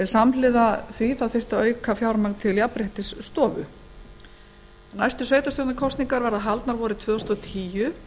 samhliða því þyrfti að auka fjármagn til jafnréttisstofu næstu sveitarstjórnarkosningar verða haldnar vorið tvö þúsund og tíu